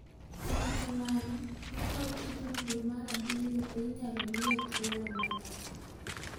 Kata kamano, nokawo tijno dwe mar abiriyo to inyalo miye thuolo malach .